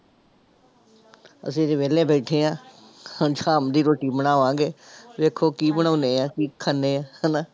ਅਸੀਂ ਜੀ ਵਿਹਲੇ ਬੈਠੇ ਹਾਂ, ਹੁਣ ਸ਼ਾਮ ਦੀ ਰੋਟੀ ਬਣਾਵਾਂਗੇ, ਵੇਖੋ ਕੀ ਬਣਾਉਂਦੇ ਹਾਂ, ਕੀ ਖਾਂਦੇ ਹਾਂ ਹਨਾ।